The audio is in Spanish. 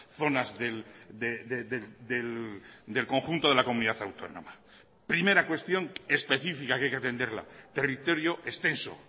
zonas del conjunto de la comunidad autónoma primera cuestión específica que hay que atenderla territorio extenso